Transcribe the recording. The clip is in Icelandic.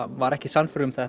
var ekki sannfærður um að þetta